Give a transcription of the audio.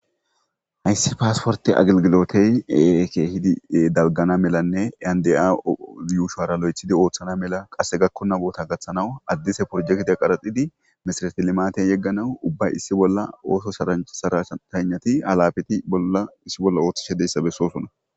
hayssi paasporte aglgilotey keehidi dalgana melanne yande7anaw yuushoara lo7ethidi ooththana mela qasse gakkonaboota gaththanawu addise porjekete qaraxidi misara ti limaten yegganawu ubba issi bolla ooto sharanchsara shtanati halabeti bolla issi bolla ooththishe deyssa bessoosona